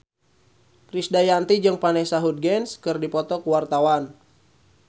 Krisdayanti jeung Vanessa Hudgens keur dipoto ku wartawan